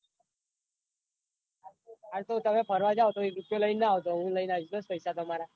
હા તો તમે ફરવા જાઓ તો એક રૂપિયો લાઈન ના આવતા હું લઈને આવીશ પૈસા તમારા.